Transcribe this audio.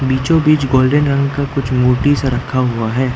बीचों बीच गोल्डन रंग का कुछ मूर्ति सा रखा हुआ है।